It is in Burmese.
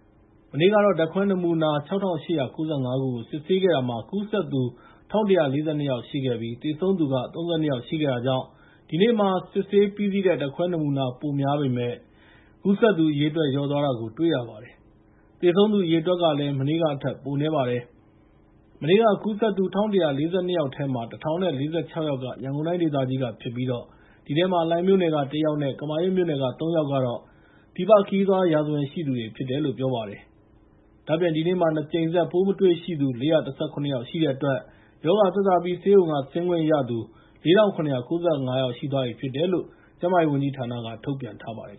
။ မနေ့ကတော့ ဓာတ်ခွဲနမူနာ ၆,၈၉၅ ခုကို စစ်ဆေးခဲ့တာမှာ ကူးစက်သူ ၁,၁၄၂ ယောက်ရှိခဲ့ပြီး သေဆုံးသူက ၃၂ ယောက်ရှိခဲ့တာကြောင့် ဒီနေ့မှာ စစ်ဆေးပြီးစီးတဲ့ ဓာတ်ခွဲနမူနာ ပိုများပေမယ့် ကူးစက်သူအရေအတွက် လျော့သွားတာကို တွေ့ရပါတယ်။ သေဆုံးသူအရေအတွက်ကလည်း မနေ့ကထက် ပိုနည်းပါတယ်။ မနေ့က ကူးစက်သူ ၁,၁၄၂ ယောက်ထဲမှာ ၁,၀၄၆ ယောက်က ရန်ကုန်တိုင်းဒေသကြီးကဖြစ်ပြီး အဲဒီထဲမှာ လှိုင်မြို့နယ်က ၁ ယောက်နဲ့ ကမာရွတ်မြို့နယ်က ၃ ယောက်ကတော့ ပြည်ပခရီးသွားရာဇဝင်ရှိသူတွေ ဖြစ်တယ်လို့ ပြောပါတယ်။ ဒါ့အပြင် ဒီနေ့မှာ ၂ ကြိမ်ဆက် ပိုးမတွေ့ရှိသူ ၄၁၇ ယောက်ရှိတဲ့အတွက် ရောဂါသက်သာပြီး ဆေးရုံက ဆင်းခွင့်ရသူ ၄,၇၉၅ ယောက်ရှိသွားပြီ ဖြစ်တယ်လို့လည်း ကျန်းမာရေးဝန်ကြီးဌာနက ထုတ်ပြန်ထားပါတယ်